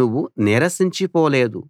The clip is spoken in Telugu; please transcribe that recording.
నువ్వు నీరసించిపోలేదు